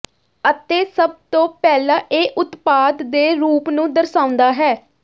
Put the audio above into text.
ਅਤੇ ਸਭ ਤੋਂ ਪਹਿਲਾਂ ਇਹ ਉਤਪਾਦ ਦੇ ਰੂਪ ਨੂੰ ਦਰਸਾਉਂਦਾ ਹੈ